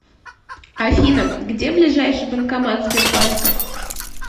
афина где ближайший банкомат сбербанка